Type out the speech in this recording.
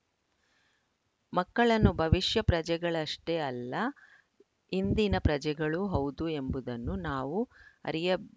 ಮಕ್ಕಳನ್ನು ಭವಿಷ್ಯ ಪ್ರಜೆಗಳಷ್ಟೇ ಅಲ್ಲ ಇಂದಿನ ಪ್ರಜೆಗಳೂ ಹೌದು ಎಂಬುದನ್ನು ನಾವು ಅರಿಯಬ್